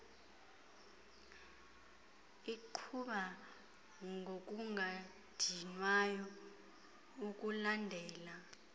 iqhuba ngokungadinwayo ukulandela